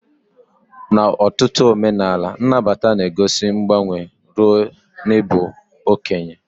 N'ọtụtụ omenala, nnabata na-egosi mgbanwe ruo n'ịbụ okenye.